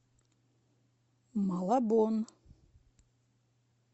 малабон